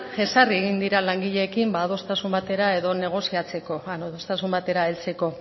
jesarri egin dira langileekin negoziatzeko edo adostasun batera heltzeko